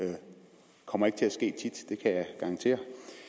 det kommer ikke til at ske tit det kan jeg garantere